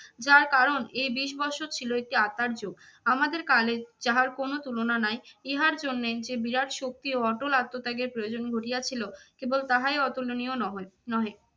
যার কারণ এ বিষ বৎসর ছিল একটি আত্মার যুগ। আমাদের কালে যাহার কোনো তুলনা নাই ইহার জন্যে যে বিরাট শক্তি ও অটল আত্মত্যাগের প্রয়োজন ঘটিয়াছিল কেবল তাহাই অতুলনীয় নহৈ নহে।